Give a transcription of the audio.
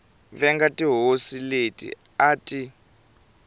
venga tihosi leti a ti